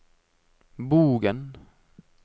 Bogen